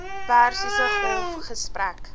persiese golf gesprek